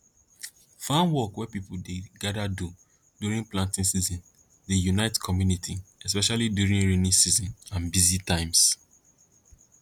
farm work wey people dey gather do during planting season dey unite community especially during rainy season and busy times